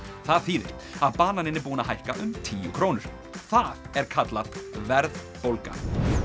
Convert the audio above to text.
það þýðir að bananinn er búinn að hækka um tíu krónur það er kallað verðbólga